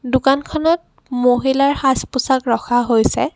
দোকানখনত মহিলাৰ সাজ-পোছাক ৰখা হৈছে।